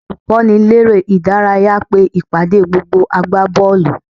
Olùkọ́niléré-ìdárayá pe ìpàdé gbogbo agbábọ́ọ̀lù